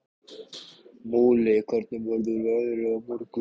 Múli, hvernig verður veðrið á morgun?